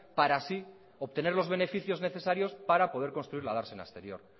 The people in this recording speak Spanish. para así obtener los beneficios necesarios para poder construir la dársena exterior